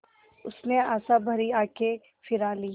उसने आशाभरी आँखें फिरा लीं